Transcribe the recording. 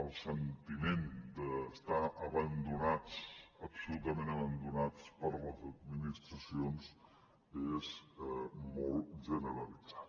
el sentiment d’estar abandonats absolutament abandonats per les administracions és molt generalitzat